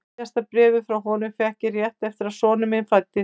Síðasta bréfið frá honum fékk ég rétt eftir að sonur minn fæddist.